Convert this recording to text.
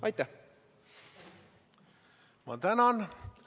Ma tänan!